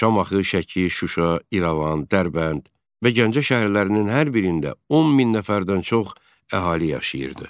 Şamaxı, Şəki, Şuşa, İrəvan, Dərbənd və Gəncə şəhərlərinin hər birində 10 min nəfərdən çox əhali yaşayırdı.